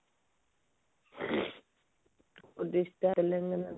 dish ଟା ତେଲେଙ୍ଗାନାର